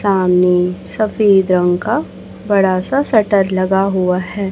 सामने सफेद रंग का बड़ा सा सटर लगा हुआ है।